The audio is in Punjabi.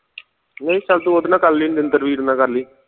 ਨਹੀਂ ਚੱਲ ਤੂੰ ਉਹਦੇ ਨਾਲ ਕਰ ਲੀ ਨਿੰਦਰ ਵੀਰ ਨਾਲ ਕਰ ਲੀ